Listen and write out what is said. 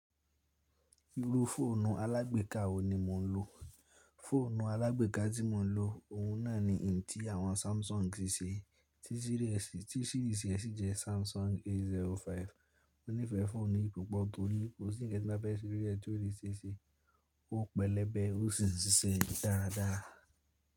Irú fóònù alágbèká wo ni mò ń lò? Fóònù alágbèká tí mò ń lò, òun náà ni ntí àwọn Samsung ṣe, tí sírìsì rẹ sì jẹ́ Samsung A05. Mo nífẹ̀ẹ́ fóònù yìí púpọ̀ torí kó sì ń kan tinbafe se lori ẹ̀ tio ní se ṣe, ó pẹlẹbẹ, ó sì ń ṣiṣẹ́ dáradára.